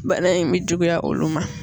Bana in bi juguya olu ma